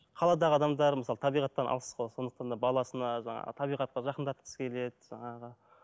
қаладағы адамдар мысалы табиғаттан алыс қой сондықтан да баласына жаңағы табиғатқа жақындатқысы келеді жаңағы